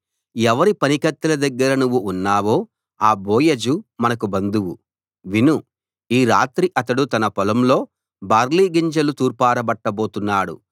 ఎవరి పనికత్తెల దగ్గర నువ్వు ఉన్నావో ఆ బోయజు మనకు బంధువు విను ఈ రాత్రి అతడు తన పొలంలో బార్లీ గింజలు తూర్పారబట్టబోతున్నాడు